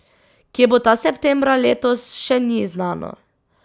Kje bo ta septembra letos, še ni znano.